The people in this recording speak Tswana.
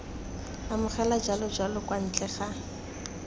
amogela jalojalo kwa ntle ga